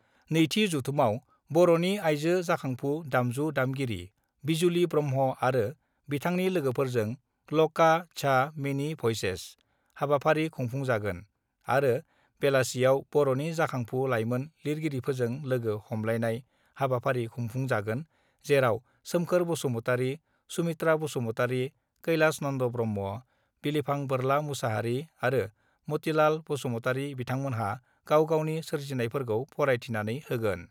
नैथि जथुमाव बर'नि आइजो जाखांफु दामजु दामगिरि बिजुलि ब्रह्म आरो बिथांनि लोगोफोरजों 'ल'का द्या मेनि भइसेस ' हाबाफारि खुंफुंजागोन आरो बेलासियाव बर'नि जाखांफु लाइमोन लिरगिरिफोरजों लोगो हमलायनाय हाबाफारि खुंफुंजागोन जेराव सोमखोर बसुमतारि, सुमित्रा बसुमतारि कैलाश नन्द ब्रह्म, बिलिफां बोरला मोसाहारि आरो मतिलाल बसुमतारि बिथांमोनहा गाव गावनि सोरजिफोरखौ फरायथिनानै होगोन।